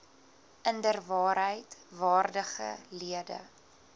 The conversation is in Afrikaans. inderwaarheid waardige lede